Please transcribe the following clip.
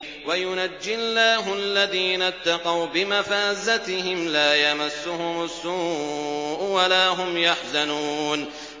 وَيُنَجِّي اللَّهُ الَّذِينَ اتَّقَوْا بِمَفَازَتِهِمْ لَا يَمَسُّهُمُ السُّوءُ وَلَا هُمْ يَحْزَنُونَ